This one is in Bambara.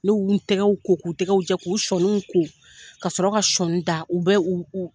Ne y'u tɛgɛw ko, k'u tɛgɛw jɛ, k'u sɔniw ko, ka sɔrɔ ka sɔni da. U bɛ u u